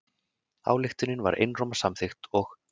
Ályktunin var einróma samþykkt og